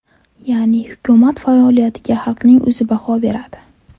Ya’ni, hukumat faoliyatiga xalqning o‘zi baho beradi.